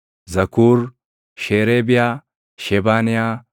Zakuur, Sheereebiyaa, Shebaniyaa,